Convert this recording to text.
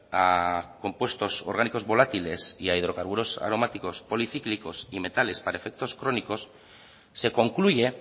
a compuestos orgánicos volátiles y a hidrocarburos aromáticos policíclicos y metales para efectos crónicos se concluye